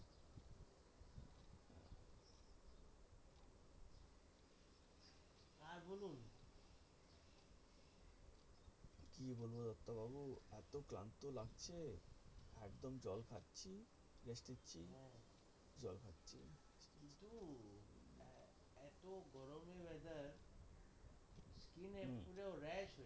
skin এ পুরো rash হয়েছে।